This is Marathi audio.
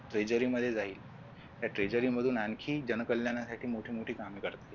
treachery मध्ये जाईल त्या treachery मधून आणखी मोठी मोठी कामे करतात